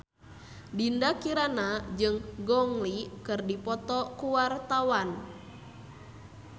Dinda Kirana jeung Gong Li keur dipoto ku wartawan